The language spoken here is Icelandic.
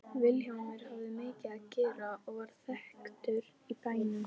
Vilhjálmur hafði mikið að gera og varð þekktur í bænum.